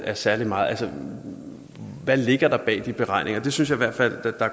af særlig meget hvad ligger der bag de beregninger det synes jeg i hvert fald